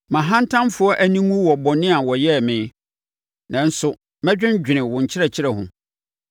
Ma ahantanfoɔ ani nwu wɔ bɔne a wɔyɛɛ me, nanso, mɛdwendwene wo nkyerɛkyerɛ ho.